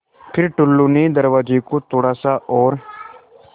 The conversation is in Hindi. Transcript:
फ़िर टुल्लु ने दरवाज़े को थोड़ा सा और